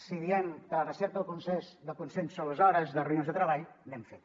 si diem que la recerca de consens són les hores de reunions de treball n’hem fet